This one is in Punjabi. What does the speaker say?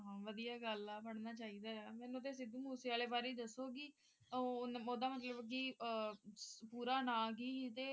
ਵਧੀਆ ਗੱਲ ਹੈ ਪੜ੍ਹਨਾ ਚਾਹੀਦਾ ਮੈਨੂੰ ਤੇ ਸਿੱਧੂ ਮੂਸੇਵਾਲੇ ਬਾਰੇ ਦਸਊਂਗੀ ਓਹਦਾ ਮਤਲਬ ਕਿ ਪੂਰਾ ਨਾਮ ਕੀ ਸੀ ਤੇ